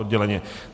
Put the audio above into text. Odděleně.